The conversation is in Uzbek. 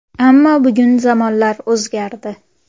Ammo bugun zamonlar o‘zgardi.